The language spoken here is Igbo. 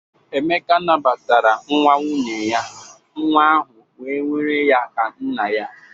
Emeka nabatara nwa nwunye ya, nwa ahụ wee nwere ya ka nna ya.